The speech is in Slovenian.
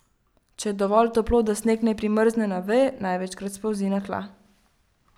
Če je dovolj toplo, da sneg ne primrzne na veje, največkrat spolzi na tla.